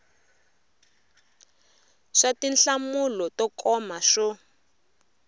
swa tinhlamulo to koma swo